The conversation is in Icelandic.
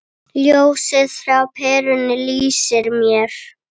Ljósið frá perunni lýsir mér.